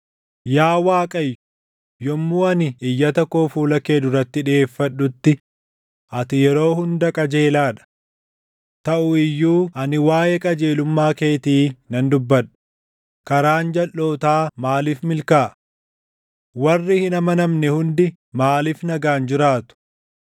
Yaa Waaqayyo yommuu ani iyyata koo fuula kee duratti dhiʼeeffadhutti ati yeroo hunda qajeelaa dha. Taʼu iyyuu ani waaʼee qajeelummaa keetii nan dubbadha; karaan jalʼootaa maaliif milkaaʼa? Warri hin amanamne hundi maaliif nagaan jiraatu?